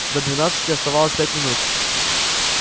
до двенадцати оставалось пять минут